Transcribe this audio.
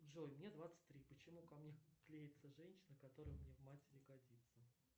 джой мне двадцать три почему ко мне клеится женщина которая мне в матери годится